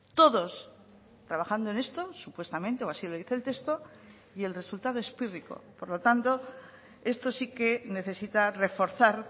todos trabajando en esto supuestamente o así lo dice el texto y el resultado es pírrico por lo tanto esto sí que necesita reforzar